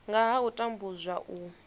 nga ha u tambudzwa u